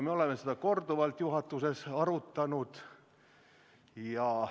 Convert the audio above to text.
Me oleme seda korduvalt juhatuses arutanud.